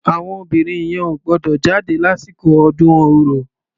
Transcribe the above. Àwọn obìnrin yẹn ò gbúdọ̀ jáde lásìkò ọdún ọrò.